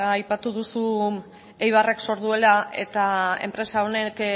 aipatu duzu eibarrek zor duela eta enpresa honek